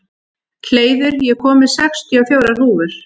Hleiður, ég kom með sextíu og fjórar húfur!